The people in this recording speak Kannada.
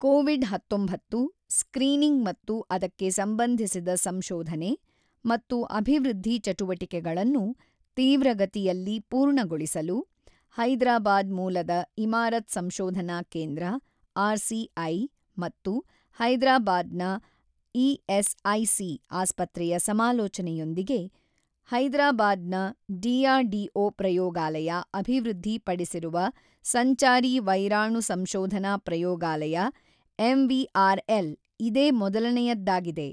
ಕೊವಿಡ್ ಹತೊಂಬತ್ತು ಸ್ಕ್ರೀನಿಂಗ್ ಮತ್ತು ಅದಕ್ಕೆ ಸಂಬಂಧಿಸಿದ ಸಂಶೋಧನೆ ಮತ್ತು ಅಭಿವೃದ್ಧಿ ಚಟುವಟಿಕೆಗಳನ್ನು ತೀವ್ರಗತಿಯಲ್ಲಿ ಪೂರ್ಣಗೊಳಿಸಲು, ಹೈದರಾಬಾದ್ ಮೂಲದ ಇಮಾರತ್ ಸಂಶೋಧನಾ ಕೇಂದ್ರ ಆರ್ ಸಿ ಐ ಮತ್ತು ಹೈದರಾಬಾದ್ ನ ಇಎಸ್ಐಸಿ ಆಸ್ಪತ್ರೆಯ ಸಮಾಲೋಚನೆಯೊಂದಿಗೆ, ಹೈದರಾಬಾದ್ ನ ಡಿ ಆರ್ ಡಿ ಒ ಪ್ರಯೋಗಾಲಯ ಅಭಿವೃದ್ಧಿ ಪಡಿಸಿರುವ ಸಂಚಾರಿ ವೈರಾಣು ಸಂಶೋಧನಾ ಪ್ರಯೋಗಾಲಯ ಎಂ ವಿ ಆರ್ ಎಲ್ ಇದೇ ಮೊದಲನೆಯದ್ದಾಗಿದೆ.